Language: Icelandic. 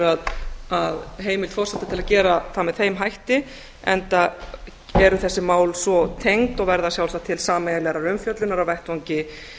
heimild forseta til að gera það með þeim hætti enda eru þessi mál svo tengd og verða sjálfsagt til sameiginlegrar umfjöllunar á vettvangi